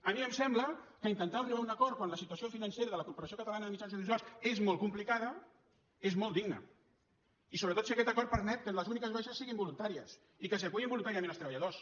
a mi em sembla que intentar arribar a un acord quan la situació financera de la corporació catalana de mitjans audiovisuals és molt complicada és molt digne i sobretot si aquest acord permet que les úniques baixes siguin voluntàries i que s’hi acullin voluntàriament els treballadors